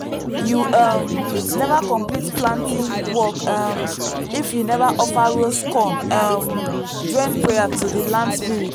you um never complete planting work um if you never offer roast corn um join prayer to the land spirits.